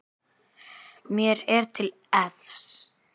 Mér er til efs.